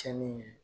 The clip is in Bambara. Cɛnni ye